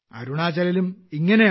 അരുണാചലിലും ഇങ്ങനെ